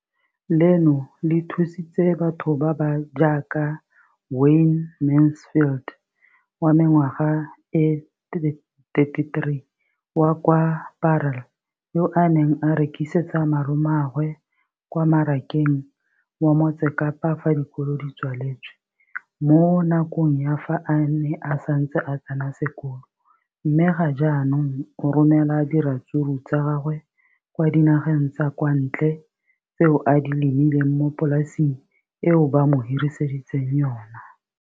Leno le thusitse batho ba ba jaaka Wayne Mansfield, 33, wa kwa Paarl, yo a neng a rekisetsa malomagwe kwa Marakeng wa Motsekapa fa dikolo di tswaletse, mo nakong ya fa a ne a santse a tsena sekolo, mme ga jaanong o romela diratsuru tsa gagwe kwa dinageng tsa kwa ntle tseo a di lemileng mo polaseng eo ba mo hiriseditseng yona.